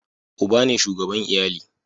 uba ne shugaban iyali